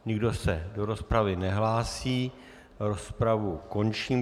Nikdo se do rozpravy nehlásí, rozpravu končím.